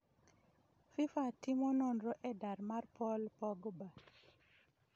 Fifa timo nonro e dar mar Paul Pogba.